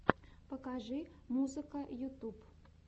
покажи музыка ютюб